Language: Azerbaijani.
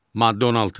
Maddə 16.